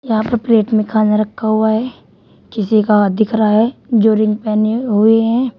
यहां पर प्लेट में खाना रखा हुआ है किसी का हाथ दिख रहा है जो रिंग पहने हुए हैं।